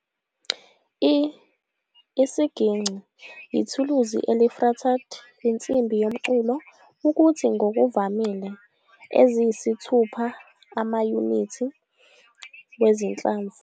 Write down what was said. I isiginci yithuluzi eli-fretted insimbi yomculo ukuthi ngokuvamile eziyisithupha amayunithi wezinhlamvu.